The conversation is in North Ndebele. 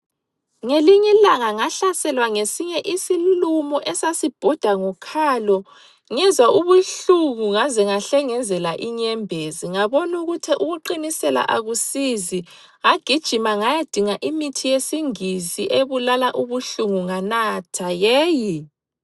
Ngelinye ilanga ngahlaselwa ngesinye isilumo esasibhoda ngokhalo ngezwa ubuhlungu ngaze ngahlengezela inyembezi ngabonukuthi ukuqinisela akusizi ngagijima ngayadinga imithi yesingisi ebulala ubuhlungu nganatha yeyi!